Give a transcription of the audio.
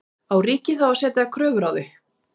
Á ríkið þá að setja kröfur á þau?